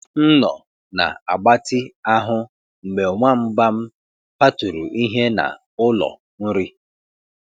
M nọ na agbatị ahụ mgbe nwamba m kwaturu ihe na ụlọ nri